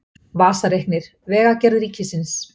Vasareiknir Vegagerð Ríkisins